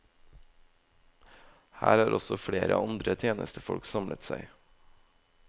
Her har også flere andre tjenestefolk samlet seg.